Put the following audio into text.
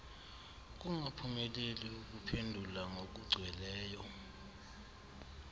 ukungaphumeleli ukuphendula ngokugcweleyo